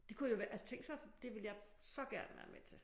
Det kunne jo altså tænk sig det ville jeg så gerne være med til